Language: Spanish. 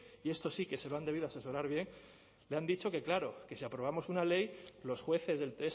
y esto sí que se lo han debido asesorar bien le han dicho que claro que sí aprobamos una ley los jueces del